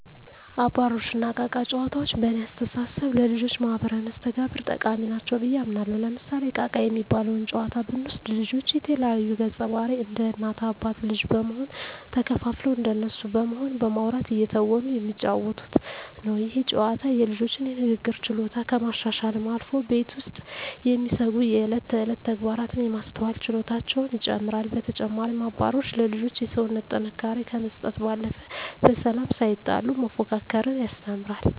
አባሮሽ እና እቃ እቃ ጨዋታዎች በእኔ አስተሳሰብ ለልጆች ማህበራዊ መስተጋብር ጠቃሚ ናቸው ብየ አምናለሁ። ለምሳሌ እቃ እቃ የሚባለውን ጨዋታ ብንወስድ ልጆች የተለያዩ ገፀባህርይ እንደ እናት አባት ልጅ በመሆን ተከፋፍለው እንደነሱ በመሆን በማዉራት እየተወኑ የሚጫወቱት ነው። ይህ ጨዋታ የልጆቹን የንግግር ችሎታ ከማሻሻልም አልፎ ቤት ውስጥ የሚደሰጉ የእለት ተእለት ተግባራትን የማስተዋል ችሎታቸውን ይጨመራል። በተጨማሪም አባሮሽ ለልጆች የሰውነት ጥንካሬ ከመስጠት ባለፈ በሰላም ሳይጣሉ መፎካከርን ያስተምራል።